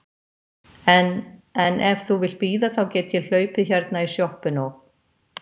En. en ef þú vilt bíða þá get ég hlaupið hérna í sjoppuna og.